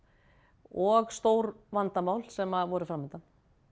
og stór vandamál sem voru fram undan